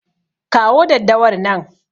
Kawo daddawar nan.